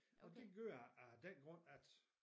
Og det gør jeg af den grund at